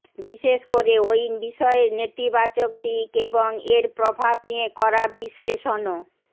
বিশেষ করে ওই বিষয়ের নেতিবাচক দিক এবং এর প্রভাব নিয়ে করা বিশ্লেষণ ও